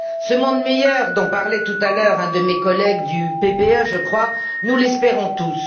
Ce monde meilleur, dont parlait tout à l'heure un de mes collègues du PPE, je crois, nous l'espérons tous.